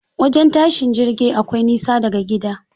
Wajen tashin jirgi akwai nisa daga gida.